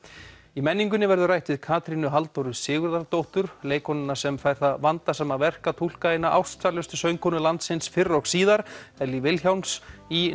í menningunni verður rætt við Katrínu Halldóru Sigurðardóttur leikkonuna sem fær það vandasama verk að túlka eina ástsælustu söngkonu landsins fyrr og síðar Ellý Vilhjálms í